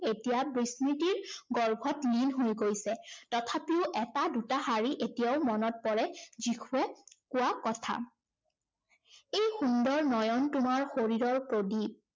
এতিয়া বিস্মৃতিৰ গৰ্ভত লীন হৈ গৈছে। তথাপিও এটা দুটা শাৰী এতিয়াও মনত পৰে। যীশুৱে কোৱা কথা। এই সুন্দৰ নয়ন তোমাৰ শৰীৰৰ প্ৰদীপ।